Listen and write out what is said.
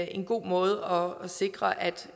en god måde at sikre